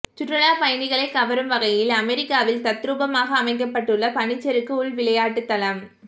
சுற்றுலா பயணிகளை கவரும் வகையில் அமெரிக்காவில் தத்ரூபமாக அமைக்கப்பட்டுள்ள பனிச்சறுக்கு உள்விளையாட்டு தளம்